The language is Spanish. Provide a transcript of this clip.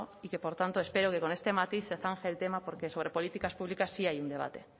y que por tanto espero que con este matiz se zanje el tema porque sobre políticas públicas sí hay un debate